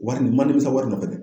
O wagati, n ma nimisa wari nɔfɛ dɛ